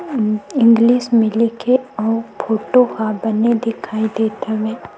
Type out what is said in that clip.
उ इंग्लिश में लिखे और फोटो ह बने दिखाई देत हवे।